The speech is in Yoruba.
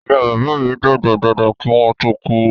Ìyá bàbá mi dàgbà dáadáa kí wọ́n ó tó kú